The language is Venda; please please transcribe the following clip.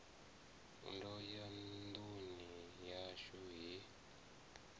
ndo ya nduni yashu he